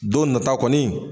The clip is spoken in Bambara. Don nata kɔni